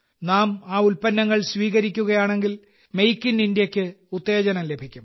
നാം ആ ഉൽപ്പന്നങ്ങൾ സ്വീകരിക്കുകയാണെങ്കിൽ മെയ്ക്ക് ഇൻ ഇന്ത്യയ്ക്ക് ഉത്തേജനം ലഭിക്കും